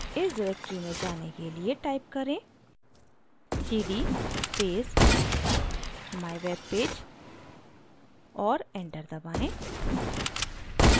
इस directory में जाने के लिए type करें: cd space mywebpage और enter दबाएँ